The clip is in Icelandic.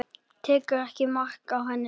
Tekur ekki mark á henni.